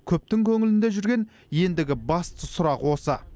көптің көңілінде жүрген ендігі басты сұрақ осы